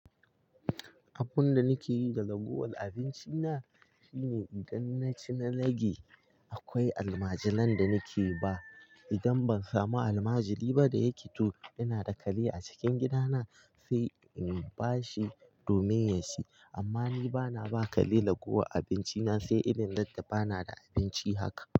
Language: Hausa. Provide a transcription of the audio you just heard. Abun da nike yi da raguwar abinci na shine idan na ci na rage, akwai almajiran da nike ba. Idan ban samu almajiri ba da yake to ina da kare a cikin gida na sai in ba shi domin ya ci. Amma ni ba na ba kare raguwar abinci na sai irin randa ba na da abinci haka.